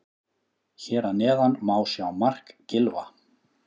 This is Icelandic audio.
Hér að neðan má sjá mark Gylfa.